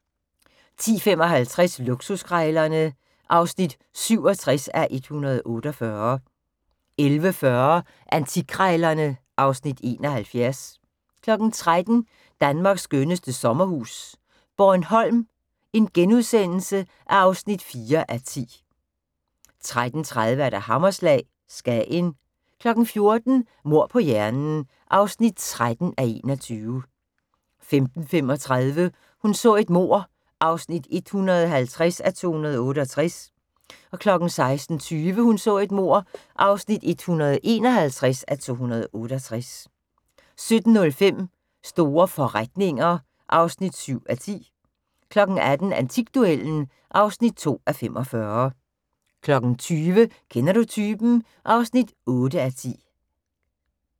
10:55: Luksuskrejlerne (67:148) 11:40: Antikkrejlerne (Afs. 71) 13:00: Danmarks skønneste sommerhus - Bornholm (4:10)* 13:30: Hammerslag – Skagen 14:00: Mord på hjernen (13:21) 15:35: Hun så et mord (150:268) 16:20: Hun så et mord (151:268) 17:05: Store forretninger (7:10) 18:00: Antikduellen (2:45) 20:00: Kender du typen? (8:10)